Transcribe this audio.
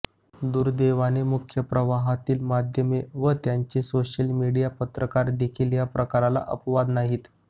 दुर्दैवाने मुख्य प्रवाहातील माध्यमे व त्यांचे सोशल मीडिया पत्रकारदेखील या प्रकाराला अपवाद नाहीत